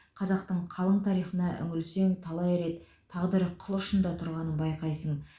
қазақтың қалың тарихына үңілсең талай рет тағдыры қыл ұшында тұрғанын байқайсың